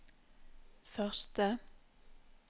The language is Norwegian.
første